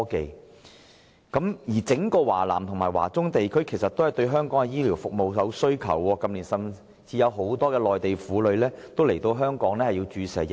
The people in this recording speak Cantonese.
事實上，整個華南和華中地區均對香港的醫療服務有需求，近年甚至有很多內地婦女來港注射疫苗。